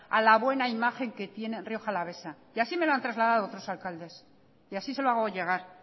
a la buena imagen que tiene rioja alavesa y así me lo han trasladado otros alcaldes y así se lo hago llegar